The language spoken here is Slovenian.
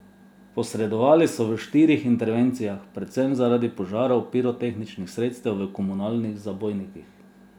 Posredovali so v štirih intervencijah, predvsem zaradi požarov pirotehničnih sredstev v komunalnih zabojnikih.